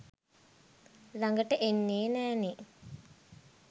ළඟට එන්නේ නෑනේ.